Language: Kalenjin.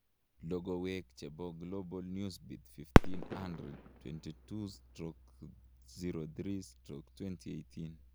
logowek chepo Global Newsbeat 1500 22/03/2018